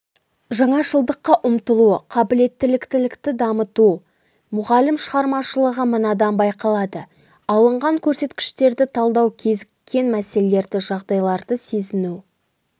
жаңашылдыққа ұмтылуы қабілеттілікті дамыту мұғалім шығармашылығы мынадан байқалады алынған көрсеткіштерді талдау кезіккен мәселелерді жағдайларды сезіну